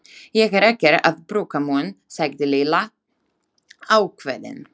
Ég er ekkert að brúka munn sagði Lilla ákveðin.